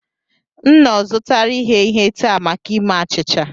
M nnọọ zụtara ighe ihe taa maka ime achịcha